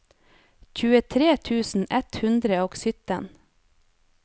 tjuetre tusen ett hundre og sytten